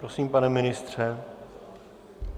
Prosím, pane ministře.